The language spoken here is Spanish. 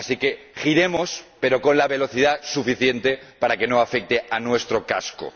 Así que giremos, pero con la velocidad suficiente para que no se vea afectado nuestro casco.